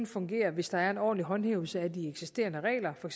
fungere hvis der er en ordentlig håndhævelse af de eksisterende regler for